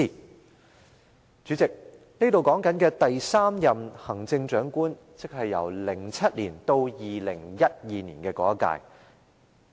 代理主席，這裏提到的第三任行政長官，是2007年至2012年的那一屆。